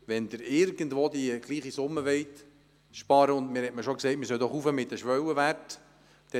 Man hat mir schon gesagt, wir sollen doch die Schwellenwerte erhöhen.